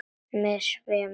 Mig svimar.